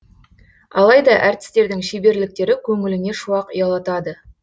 алайда әртістердің шеберліктері көңіліңе шуақ ұялатады